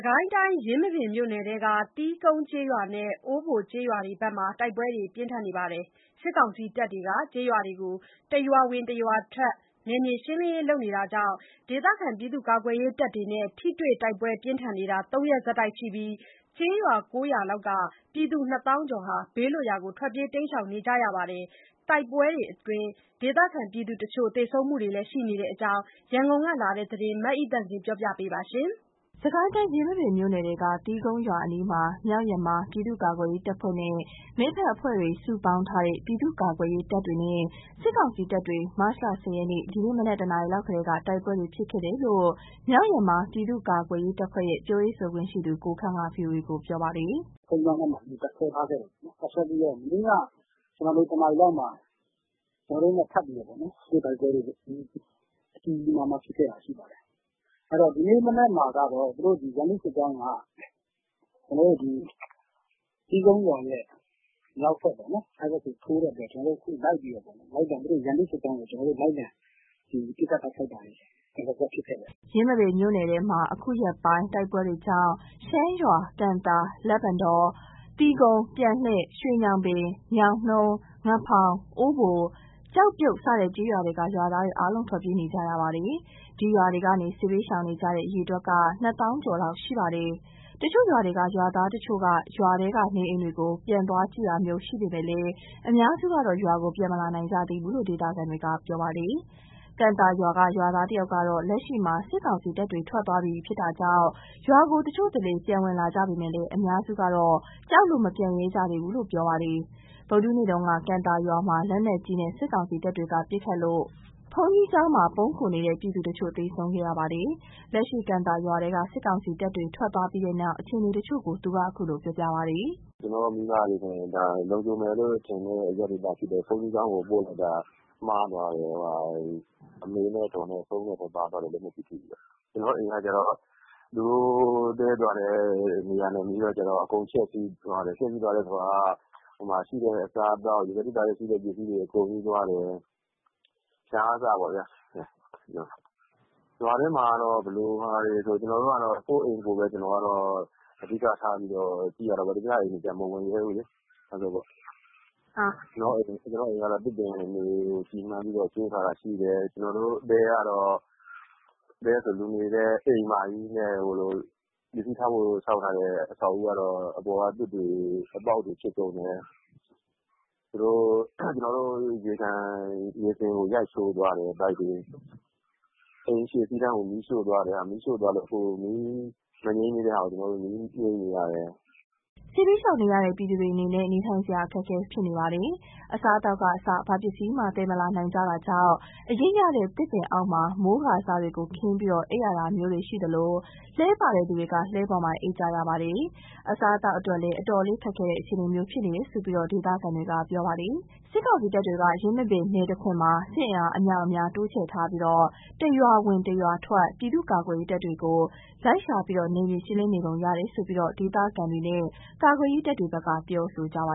ကိုင်းတိုင်း ယင်းမာပင်မြို့နယ်ထဲက သီးကုန်းကျေးရွာနဲ့ အိုးဘိုကျေးရွာတို့ဘက်မှာ တိုက်ပွဲတွေဖြစ်နေပါတယ်။ စစ်ကောင်စီတပ်တွေက ကျေးရွာတွေကို တရွာဝင် တရွာထွက် နယ်မြေရှင်းလင်းရေး လုပ်တာကြောင့် ဒေသခံ ပြည်သူ့ကာကွယ်ရေးတပ်တွေနဲ့ ထိတွေ့တိုက်ပွဲပြင်းထန်နေတာ ၃ ရက်ဆက်တိုက်ရှိနေပြီး ကျေးရွာ ၉ ရွာလောက်က ပြည်သူ ၂ သောင်းကျော်လောက် ဘေးလွတ်ရာ ထွက်ပြေးပုန်းရှောင်နေကြရပါတယ်။ တိုက်ပွဲတွေအတွင်း ဒေသခံပြည်သူတချို့ သေဆုံးမှုတွေလည်းရှိနေတဲ့အကြောင်း ရန်ကုန်ကလာတဲ့သတင်းကို မအိသန့်စင်က တင်ပြပေးထားပါတယ်။ စစ်ကိုင်းတိုင်း ယင်းမာပင်မြို့နယ်ထဲက သီးကုန်းရွာအနီးမှာ မြောက်ယမား ပြည်သူ့ကာကွယ်ရေးတပ်ဖွဲ့နဲ့ မိတ်ဖက်အဖွဲ့တွေ စုပေါင်းထားနဲ့ ပြည့်သူကာကွယ်ရေးတပ်တွေနဲ့ စစ်ကောင်စီတပ်တွေ မတ်လ ၁၀ ရက် ဒီကနေ့ မနက် ၁ နာရီလောက် ကတည်းက တိုက်ပွဲတွေ ဖြစ်ခဲ့တယ်လို့ မြောက်ယမား ပြည်သူ့ကာကွယ်ရေးတပ်ဖွဲ့ရဲ့ ပြောရေးဆိုခွင့်ရှိသူ ကိုခန့်က VOA ကို ပြောပါတယ်။ “သီးကုန်းရွာက ဘုန်းကြီးကျောင်းမှာ မနေ့က တပ်စွဲထားခဲ့တယ်။ တပ်စွဲထားခဲ့ပြီးတော့ မနေ့ က တနာရီလောက်မှာ ကျနော်တို့နဲ့ ထပ်ပြီးတော့ ထိတွေ့တိုက်ပွဲတွေ ကြီးကြီးမားမားဖြစ်တာရှိခဲ့တယ်။ ဒီကနေ့ မနက်မှာကတော့ ရန်သူစစ်ကြောင်းက သီးကုန်းရွာရဲ့ မြောက်ဘက်ပေါ့နော်။ အဲဒီဘက်ကိုတက်သွားတော့ ခု ကျနော်တို့လိုက်ပြီးတော့ လိုက်လံ ပစ်ခတ်တာတွေ ဒလစပ် ဖြစ်ခဲ့တယ်။” ယင်းမာပင်မြို့နယ်ထဲမှာ အခုရက်ပိုင်းတိုက်ပွဲတွေကြောင့် ရှမ်းရွာ၊ ကံသာ၊ လက်ပံတော၊ သီးကုန်း၊ ပြန်လှည့်၊ ရွှေညောင်ပင်၊ ညောင်နှုန်း၊ ငဖောင်၊ အိုးဘို၊ ကျောက်ပြုတ် စတဲ့ကျေးရွာတွေက ရွာသားတွေအားလုံး ထွက်ပြေးနေကြရတာပါ။ ဒီရွာတွေကနေ စစ်ဘေးရှောင်နေကြတဲ့ အရေအတွက်က ၂ သောင်းကျော်လောက်ရှိပါတယ်။ တချို့ရွာတွေက ရွာသားတချို့က ရွာထဲက နေအိမ်တွေကို ပြန်သွားကြည့်တာမျိုး ရှိပေမယ့် အများစုကတော့ ရွာကိုပြန်မလာနိုင်ကြသေးဘူးလို့ ဒေသခံတွေက ပြောပါတယ်။ ကံသာရွာက ရွာသားတဦးကတော့ လက်ရှိမှာ စစ်ကောင်စီတပ်တွေထွက်သွားပြီမို့ ရွာကို တချို့တလေ ပြန်ဝင်လာကြပေမယ့် အများစုကတော့ ကြောက်လို့ ပြန်မလာရဲကြသေးဘူးလို့ ပြောပါတယ်။ ဗုဒ္ဓဟူးနေ့က ကံသာရွာမှာ လက်နက်ကြီးနဲ့ စစ်ကောင်စီတပ်တွေက ပစ်ခတ်လို့ ဘုန်းကြီးကျောင်းမှာ ပုန်းခိုနေတဲ့ ပြည်သူတချို့ သေဆုံးခဲ့ရပါတယ်။ လက်ရှိ ကံသာရွာထဲက စစ်ကောင်စီတပ်တွေ ထွက်သွားပြီးနောက် အခြေအနေတချို့ကို သူက ခုလိုပြောပါတယ်။ “ကျနော့်မိဘတွေကိုဆိုရင် လုံခြုံမယ်လို့ထင်တဲ့ အရပ်ဒေသဖြစ်တဲ့ ဘုန်းကြီးကျောင်းကို ပို့လိုက်တာ မှားသွားတယ်။ အမေနဲ့အဒေါ်နဲ့ ဆုံးတဲ့ထဲပါသွားတယ်။ လက်နက်ပြီးထိပြီးတော့။ ကျနော့်အိမ်က သူတို့တည်းတဲ့ နေရာနဲ့နီးတော့ အကုန်ဖျက်ဆီးသွားတယ်။ ရှိတဲ့အစားအသောက် ရေခဲသေတ္တာထဲရှိတာတွေ အကုန်ယူသွားတယ်။ ဖျာကအစပေါ့ဗျာ။ ရွာထဲမှာက ဘယ်လိုလဲဆိုတော့ ကျနော်က ကိုယ့်အိမ်ကိုပဲ အဓိကထားကြည့်ရတာပေါ့။ သူများအိမ်ကိုကျ မဝင်ရဲဘူးလေ။ ကျနော်တို့တဲက၊ တဲဆိုတာထက် လူနေဖို့ ဆောက်ထားတဲ့ အိမ်မကြီးနဲ့ ပစ္စည်းထားဖို့ ဆောက်ထားတဲ့အဆောက်အဦးကတော့ အပေါ်က သွပ်တွေ အပေါက်တွေဖြစ်ကုန်တယ်။ ရေစင်ကို ရိုက်ချိုးသွားတယ်။ ပိုက်တွေကိုရော။ အိမ်ရှေ့အခန်းကို မီးရှို့သွားတယ်။ မီးရှို့သွားလို့ ခုမီးမငြိမ်းသေးတဲ့ဟာကို မီးငြိမ်းနေရတယ်။” စစ်ဘေးရှောင်နေရတဲ့ ပြည်သူတွေအနေနဲ့ နေထိုင်စရာ အခက်အခဲဖြစ်နေပါတယ်။ အစားအသောက်ကအစ ဘာပစ္စည်းမှသယ်မလာနိုင်ကြတာကြောင့် အရိပ်ရတဲ့ သစ်ပင်အောက်မှာ မိုးကာစတွေကို ခင်းပြီးအိမ်ရတာမျိုးတွေ ရှိသလို လှည်းပါတဲ့သူတွေ က လှည်းပေါ်မှာ အိပ်ကြရပါတယ်။ အစားအသောက်အတွက်လည်း အတော်လေးခက်ခဲတဲ့ အခြေအနေမျိုးဖြစ်နေတယ်လို့ ဒေသခံတွေက ပြောပါတယ်။ စစ်ကောင်စီတပ်တွေက ယင်းမာပင်နယ်တခွင်မှာ စစ်အင်အားအမြောက်အများ တိုးချဲ့ထားပြီး တရွာဝင်တရွာထွက် ပြည်သူ့ကာကွယ်ရေးတပ်တွေကို လိုက်ရှာ နယ်မြေရှင်းလင်းနေပုံရတယ်လို့ ဒေသခံတွေနဲ့ ကာကွယ်ရေးတပ်တွေဘက်က ပြောဆိုကြပါ